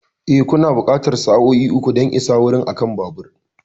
E, kuna buƙatar sa'o'i uku don isa wurin akan babur.